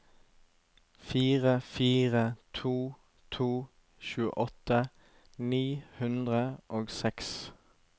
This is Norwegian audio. fire fire to to tjueåtte ni hundre og seks